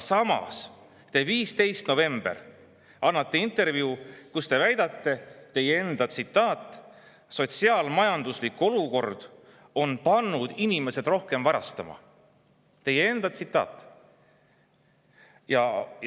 Samas te 15. novembril andsite intervjuu, kus te väidate – see on teie enda –, et sotsiaal-majanduslik olukord on pannud inimesed rohkem varastama – teie enda tsitaat!